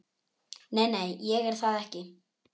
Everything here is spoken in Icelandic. Nei, ég er það ekki.